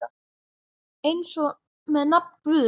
Eins er með nafn Guðs.